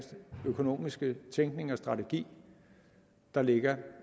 økonomiske tænkning og strategi der ligger